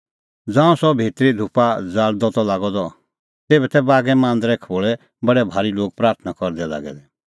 ज़ांऊं सह भितरी धूपा ज़ाल़दअ त लागअ द तेभै तै बागै मांदरे खोल़ै बडै भारी लोग प्राथणां करदै लागै दै